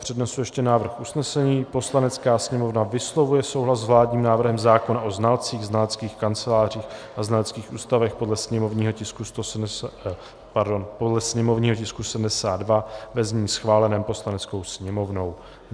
Přednesu ještě návrh usnesení: "Poslanecká sněmovna vyslovuje souhlas s vládním návrhem zákona o znalcích, znaleckých kancelářích a znaleckých ústavech, podle sněmovního tisku 72, ve znění schváleném Poslaneckou sněmovnou.